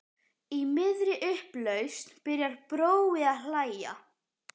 Í miðri upplausn byrjar Brói að hlæja.